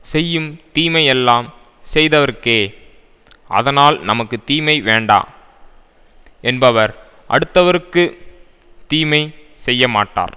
செய்யும் தீமை எல்லாம் செய்தவர்க்கே அதனால் நமக்கு தீமை வேண்டா என்பவர் அடுத்தவர்க்குத் தீமை செய்யமாட்டார்